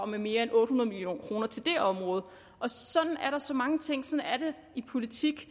med mere end otte hundrede million kroner til det område og sådan er det med så mange ting sådan er det i politik